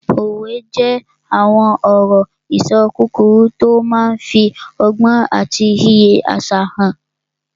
Òwe jẹ́ àwọn ọ̀rọ̀-ìṣọ kúkúrú tó máa n fi ọgbọ́n àti iyì àṣà hàn